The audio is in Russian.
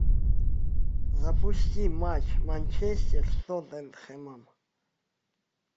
запусти матч манчестер с тоттенхэмом